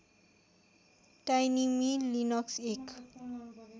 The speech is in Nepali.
टाइनिमी लिनक्स एक